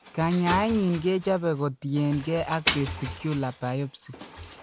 Kanyaenyin kechope ko tienke ak testicular biopsy.